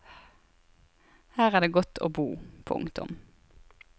Her er det godt å bo. punktum